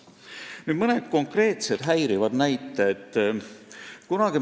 Nüüd mõned konkreetsed näited selle kohta, mis häirib.